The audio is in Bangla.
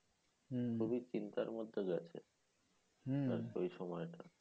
হ্যাঁ, খুব চিন্তার মধ্যে যাচ্ছে এই সময়টা